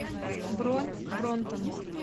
бронь бронтон